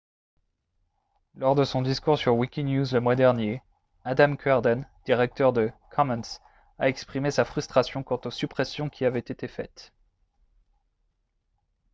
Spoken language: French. lors de son discours sur wikinews le mois dernier adam cuerden directeur de commons a exprimé sa frustration quant aux suppressions qui avaient été faites